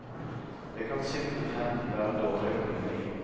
Det kan simpelthen være dårlig økonomi.